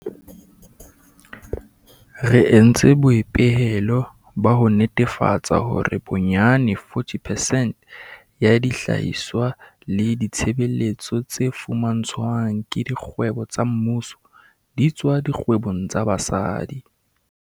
Re entse boipehelo ba ho netefatsa hore bonyane 40 percent ya dihlahiswa le ditshebeletso tse fumantshwang ke dikgwebo tsa mmuso di tswa dikgwebong tsa basadi.